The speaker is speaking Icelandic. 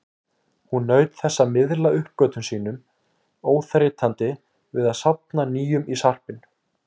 Hún naut þess að miðla uppgötvunum sínum, óþreytandi við að safna nýjum í sarpinn.